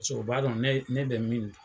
Paseke u b'a dɔn ne ne bɛ min dun.